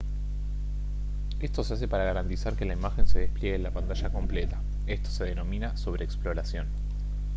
esto se hace para garantizar que la imagen se despliegue en la pantalla completa esto se denomina sobreexploración